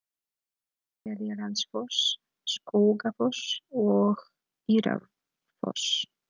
Seljalandsfoss, Skógafoss og Írárfoss.